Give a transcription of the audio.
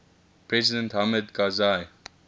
president hamid karzai